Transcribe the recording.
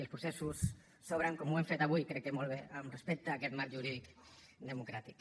i els processos s’obren com ho hem fet avui crec que molt bé amb respecte a aquest marc jurídic democràtic